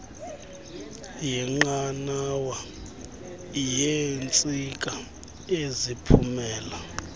yenqanawa yeentsika eziphumela